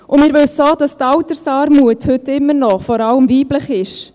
Wir wissen auch, dass die Altersarmut heute immer noch vor allem weiblich ist.